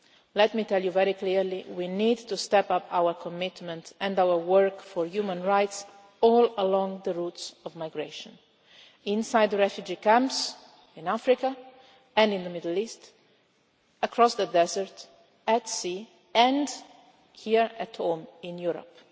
Let me tell you very clearly we need to step up our commitment and our work for human rights all along the routes of migration inside the refugee camps in Africa and in the Middle East, across the desert, at sea and here at home in Europe.